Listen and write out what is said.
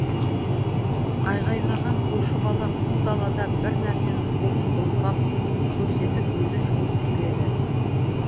айғайлаған қойшы бала қу далада бір нәрсені қолын былғап көрсетіп өзі жүгіріп келеді